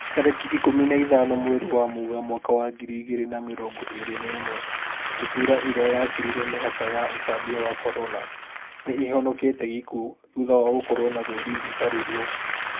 Tarĩki ikũmi na ithano mweri wa Mũgaa mwaka wa ngiri igĩrĩ na mĩrongo ĩrĩ na ĩmwe, ndutura ĩrĩa yakĩrire mĩhaka ya ũtambia wa Corona, nĩihonokete gĩkuo thutha wa gũkorwo na rũri rũtari ruo